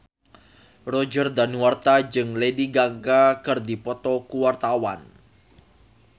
Roger Danuarta jeung Lady Gaga keur dipoto ku wartawan